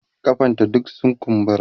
kafan ta duk sun kumbura